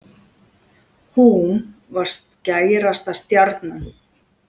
Hún var skærasta stjarnan.